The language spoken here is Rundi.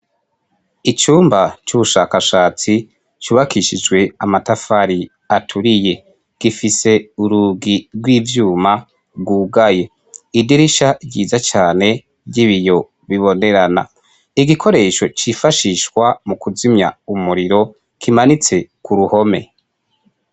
Icumba c'ubushakashatsi cubakishijwe amatafari aturiye. Gifise urugi rw'ivyuma rwugaye. Idirisha ryiza cane ry'ibiyo bibonerana. Igikoresho cifashishwa mu kuzimya umuriro kimanitse ku ruhome.